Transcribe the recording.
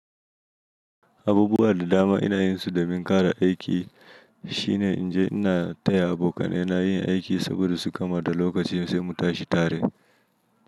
Abubuwa da dama ina yin su domin kara aiki shine in je ina taya abokanaina yin aiki saboda su gama da lokaci sai mu tashi tare.